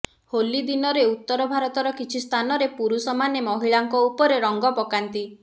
ହୋଲିଦିନରେ ଉତରଭାରତର କିଛିସ୍ଥାନରେ ପୁରୁଷ ମାନେ ମହିଳାଙ୍କ ଉପରେ ରଙ୍ଗ ପକାନ୍ତି